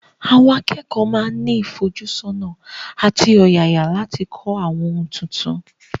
Àwọn akẹ́kọ̀ọ́ máa ní ìfojúsọ́nà àti ọ̀yàyà láti kọ́ àwọn ohun tuntun.